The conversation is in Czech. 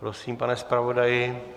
Prosím, pane zpravodaji.